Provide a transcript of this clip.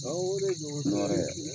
Awɔ o de don, nɔn tɛ.